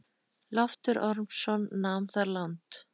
Loftur Ormsson nam þar land.